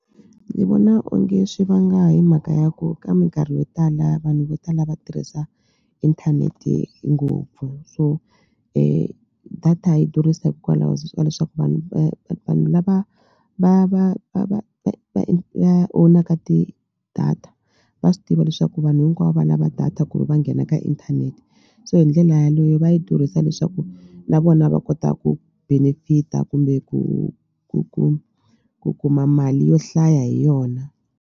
Ni vona onge swi vanga hi mhaka ya ku ka mikarhi yo tala vanhu vo tala va tirhisa inthanete ngopfu so data yi durhisa hikwalaho ka leswaku vanhu va vanhu lava va va va va va va va own-aka ti-data va swi tiva leswaku vanhu hinkwavo va lava data ku ri va nghena ka inthanete so hi ndlela yaleyo va yi durhisa leswaku na vona va kota ku benefit-a kumbe ku ku ku ku kuma mali yo hlaya hi yona.